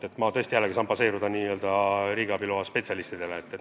Ja mina tõesti tuginen riigiabi loa spetsialistide hinnangule.